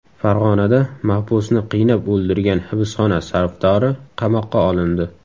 Farg‘onada mahbusni qiynab o‘ldirgan hibsxona safdori qamoqqa olindi.